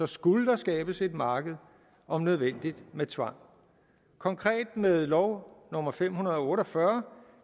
skulle der skabes et marked om nødvendigt med tvang konkret blev med lov nummer fem hundrede og otte og fyrre